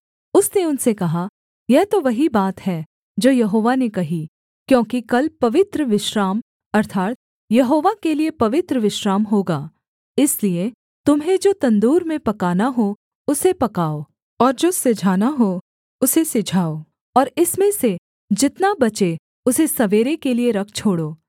उसने उनसे कहा यह तो वही बात है जो यहोवा ने कही क्योंकि कल पवित्र विश्राम अर्थात् यहोवा के लिये पवित्र विश्राम होगा इसलिए तुम्हें जो तंदूर में पकाना हो उसे पकाओ और जो सिझाना हो उसे सिझाओ और इसमें से जितना बचे उसे सवेरे के लिये रख छोड़ो